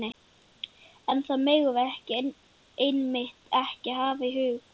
En það megum við einmitt ekki hafa í huga.